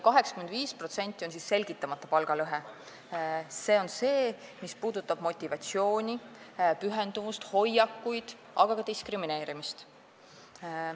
85% on siis selgitamata palgalõhe – see on see, mis puudutab motivatsiooni, pühendumust, hoiakuid, aga ka diskrimineerimist.